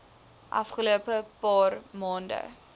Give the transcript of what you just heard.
afgelope paar maande